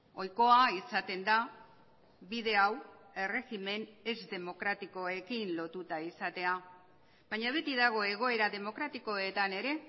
ohikoa izaten da bide hau erregimen ez demokratikoekin lotuta izatea baina beti dago egoera demokratikoetan ere